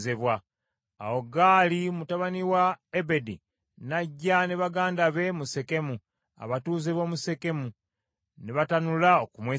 Awo Gaali mutabani wa Ebedi n’ajja ne baganda be mu Sekemu, abatuuze b’omu Sekemu, ne batanula okumwesiga.